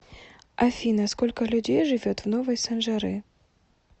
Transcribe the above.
афина сколько людей живет в новые санжары